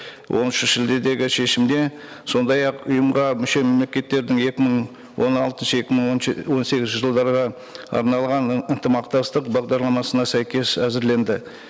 оныншы шілдедегі шешімде сондай ақ ұйымға мүше мемлекеттердің екі мың он алтыншы екі мың он он сегізінші жылдарға арналған ынтымақтастық бағдарламасына сәйкес әзірленді